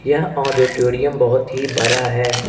यह ऑडिटोरियम बहोत ही बड़ा है।